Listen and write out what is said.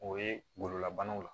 O ye gololabanaw